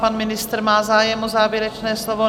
Pan ministr má zájem o závěrečné slovo?